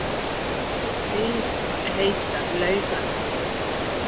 Við heitar laugar